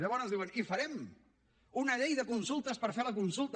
llavors diuen i farem una llei de consultes per fer la consulta